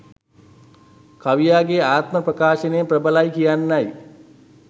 කවියාගේ ආත්ම ප්‍රකාශනය ප්‍රබලයි කියන්නයි